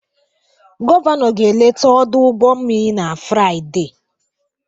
Gọvanọ ga-eleta ọdụ ụgbọ mmiri na Fraịde